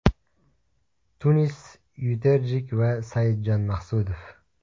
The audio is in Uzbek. Tunis Yuterjik va Saidjon Maqsudov.